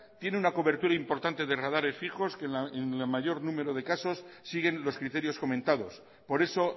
tiene una cobertura importante de radares fijos que en el mayor número de casos siguen los criterios comentados por eso